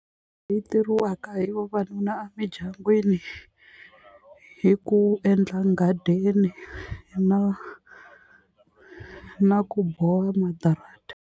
Yi tirhisiwaka hi vavanuna emidyangwini i ku endla nghadini na na ku boha madrata.